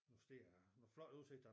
Nogle steder nogle flotte udsigter